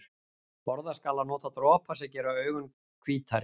Forðast skal að nota dropa sem gera augu hvítari.